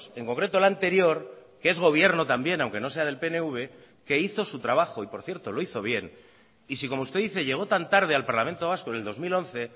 en concreto el anterior que es gobierno también aunque no sea del pnv que hizo su trabajo y por cierto lo hizo bien y si como usted dice llegó tan tarde al parlamento vasco en el dos mil once